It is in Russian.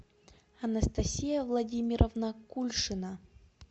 анастасия владимировна кульшина